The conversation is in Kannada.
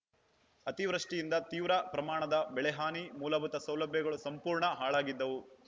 ಅತಿವೃಷ್ಟಿಯಿಂದ ತೀವ್ರ ಪ್ರಮಾಣದ ಬೆಳೆಹಾನಿ ಮೂಲಭೂತ ಸೌಲಭ್ಯಗಳು ಸಂಪೂರ್ಣ ಹಾಳಾಗಿದ್ದವು